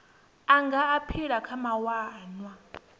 a nga aphila kha mawanwa